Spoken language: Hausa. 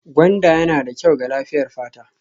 Gwanda yana da kyau ga lafiyar fata